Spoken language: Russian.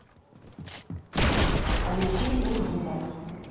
алексей уржумов